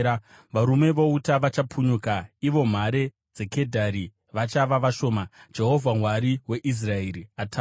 Varume vouta vachapunyuka, ivo mhare dzeKedhari vachava vashoma.” Jehovha, Mwari weIsraeri ataura.